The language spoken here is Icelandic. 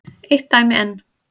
Eitt dæmi enn.